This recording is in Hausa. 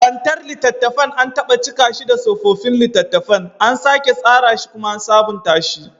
Kantar littattafan, an taɓa cika shi da tsofaffin littattafan, an sake tsara shi kuma an sabunta shi